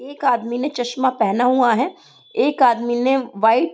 एक आदमी ने चश्मा पहना हुआ है। एक आदमी ने व्हाइट --